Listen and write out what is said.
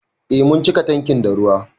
Eh mun cika tankin da ruwa.